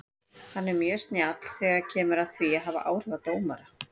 Hann er mjög snjall þegar kemur að því að hafa áhrif á dómara.